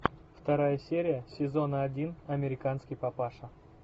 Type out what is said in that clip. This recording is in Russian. вторая серия сезона один американский папаша